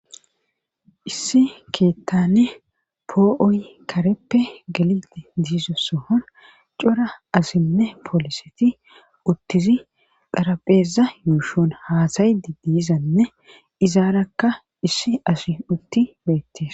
Issi keettane poo7oy kareppe galilti diizossohon cora asinne pooliseti uttizi xarapheeza yuushon haasayi di diizanne izaarakka issi asi utti beettes.